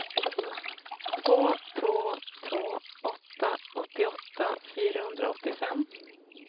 två två två åtta åttioåtta fyrahundraåttiofem